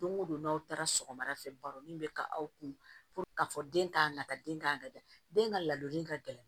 Don go don n'aw taara sɔgɔmada fɛ baro min be ka aw kun k'a fɔ den t'a nata den k'a ka ja den ka ladonni ka gɛlɛn